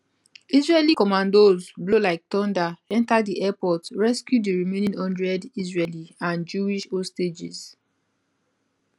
israeli commandos blow like thunder enta di airport rescue di remaining one hundred israeli and jewish hostages